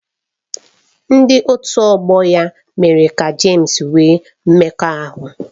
Ndị otu ọgbọ ya mere ka James nwee mmekọahụ.